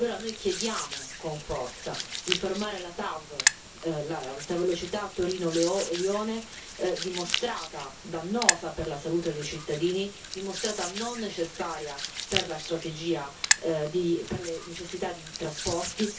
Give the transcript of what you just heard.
E allora noi chiediamo con forza di fermare la TAV, l'alta velocità Torino Lione, dimostrata dannosa per la salute dei cittadini, dimostrata non necessaria per la strategia e per le necessità di trasporti.